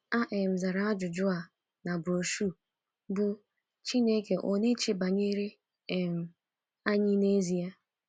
A um zara ajụjụ um a na broshuọ bụ́ Chineke Ọ̀ Na - eche Banyere um Anyị n’Ezie?